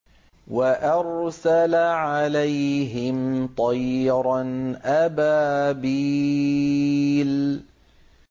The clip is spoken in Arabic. وَأَرْسَلَ عَلَيْهِمْ طَيْرًا أَبَابِيلَ